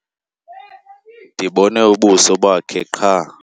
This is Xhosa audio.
Ndibone ubuso bakhe qha.